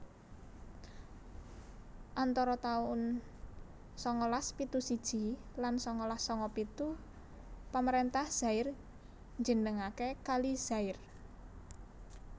Antara taun sangalas pitu siji lan sangalas sanga pitu pamaréntah Zaire njenengaké Kali Zaire